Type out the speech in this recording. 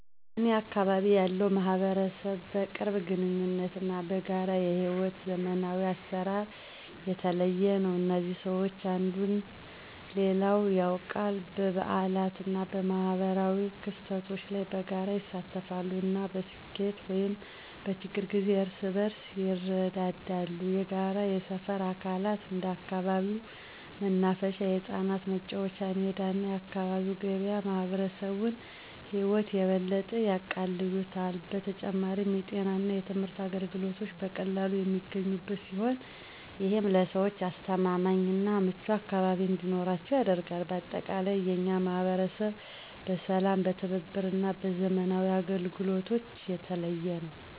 በእኔ አካባቢ ያለው ማህበረሰብ በቅርብ ግንኙነት እና በጋራ የሕይወት ዘመናዊ አሰራር የተለየ ነው። እዚህ ሰዎች አንዱን ሌላው ያውቃል፣ በበዓላት እና በማኅበራዊ ክስተቶች ላይ በጋራ ይሳተፋሉ፣ እና በስኬት ወይም በችግር ጊዜ እርስ በርስ ይረዳዋል። የጋራ የሰፈር አካላት እንደ አካባቢው መናፈሻ፣ የህጻናት መጫወቻ ሜዳ እና የአካባቢ ገበያ የማህበረሰቡን ህይወት የበለጠ ያቃልሉታል። በተጨማሪም፣ የጤና እና የትምህርት አገልግሎቶች በቀላሉ የሚገኙበት ሲሆን፣ ይህም ለሰዎች አስተማማኝ እና ምቹ አካባቢ እንዲኖራቸው ያደርጋል። በአጠቃላይ፣ የእኛ ማህበረሰብ በሰላም፣ በትብብር እና በዘመናዊ አገልግሎቶች የተለየ ነው።